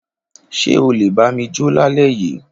Ṣe ọ lé bami jo l'alẹ yi